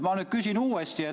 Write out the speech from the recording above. Ma nüüd küsin uuesti.